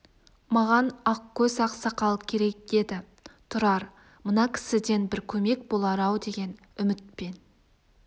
маған ақкөз ақсақал керек деді тұрар мына кісіден бір көмек болар-ау деген үмітпен